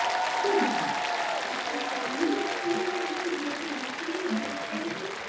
আচ্ছা আচ্ছা. আমিও মাঝখানে তোর একদিন গিয়েছিলাম. একচুয়ালি কি সিটিজ স্টাইলে তো